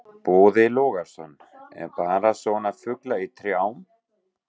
Boði Logason: Eða bara svona fuglar í trjám?